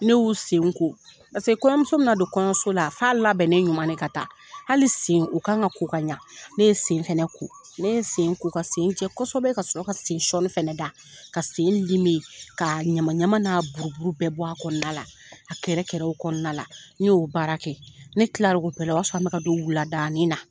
Ne y'u senko kɔɲɔmuso bi na don kɔɲɔso la, f'a a labɛn ne ɲuman ne ka taa hali sen, o kan ka ko ka ɲa, ne ye sen fɛnɛ ko, ne ye sen ko ka sen jɛ kosɛbɛ ka sɔrɔ ka sen sɔɔni fɛnɛ da, ka sen k'a ɲama ɲama n'a bururu bɛɛ bɔ, a kɔnɔna la, a kɛrɛfɛkɛ kɔnɔna la, n y'o baara kɛ, ne kilar'o bɛ la, o y'a sɔrɔ, an mi ka don wuladanin na.